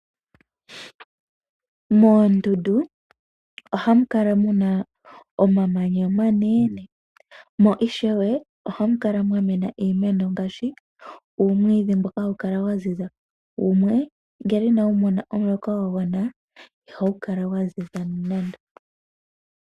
Moondundu ohamu kala muna omamanya omanene, mo ishewe ohamu kala mwa mena iimeno ngaashi uumwiidhi mboka hawu kala wa ziza, wumwe ngele inawu mona omuloka gwa gwana, ihawu kala wa ziza nando.